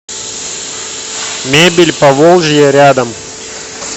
мебель поволжья рядом